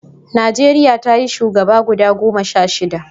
Najeriya ta yi shugaba guda goma sha shida